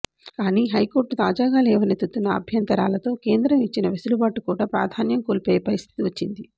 కానీ హైకోర్టు తాజాగా లేవనెత్తుతున్న అభ్యంతరాలతో కేంద్రం ఇచ్చిన వెసులుబాటు కూడా ప్రాధాన్యం కోల్పోయే పరిస్ధితి వచ్చింది